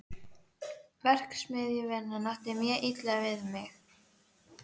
Verksmiðjuvinnan átti mjög illa við mig.